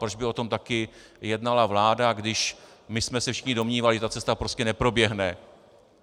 Proč by o tom také jednala vláda, když my jsme se všichni domnívali, že ta cesta prostě neproběhne.